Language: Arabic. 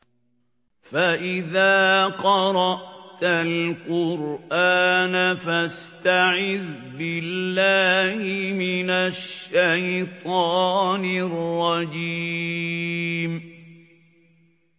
فَإِذَا قَرَأْتَ الْقُرْآنَ فَاسْتَعِذْ بِاللَّهِ مِنَ الشَّيْطَانِ الرَّجِيمِ